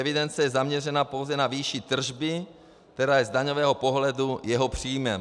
Evidence je zaměřena pouze na výši tržby, která je z daňového pohledu jeho příjmem.